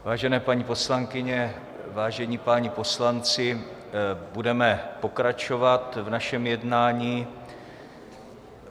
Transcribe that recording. Vážené paní poslankyně, vážení páni poslanci, budeme pokračovat v našem jednání.